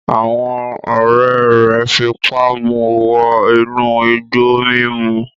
Àwọn ọ̀rẹ́ rẹ̀ fipá mu wọ inú igbó mímu